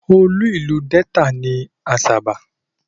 Olú ìlú Delta ni Asaba.